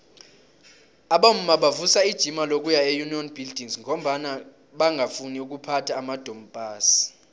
abomma bavusa ijima lokuya eunion buildings ngombana bangafuni ukuphatha amadompass